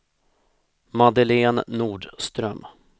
Madeleine Nordström